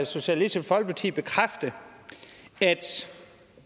socialistisk folkeparti bekræfte at